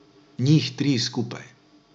Njih tri skupaj.